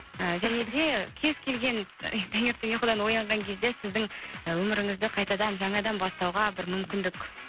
і және де кез келген таңертең ұйқыдан оянған кезде сіздің і өміріңізді қайтадан жаңадан бастауға бір мүмкіндік